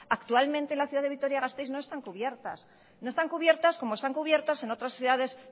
actualmente en la ciudad de vitoria gasteiz no están cubiertas no están cubiertas como están cubiertas en otras ciudades